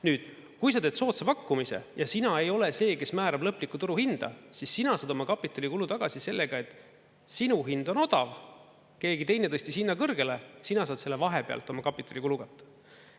Nüüd, kui sa teed soodsa pakkumise ja sina ei ole see, kes määrab lõplikku turuhinda, siis sina oma kapitalikulu tagasi sellega, et sinu hind on odav, keegi teine tõstis hinna kõrgele, sina saad selle vahepealt oma kapitalikulu katta.